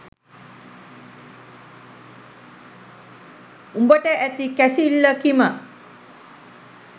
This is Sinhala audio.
උඹට ඇති කැසිල්ල කිම